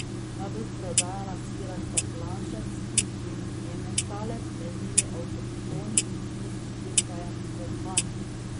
Najbolj prodajana sira sta planšarski in ementalec, edini avtohtoni bohinjski sir pa je mohant.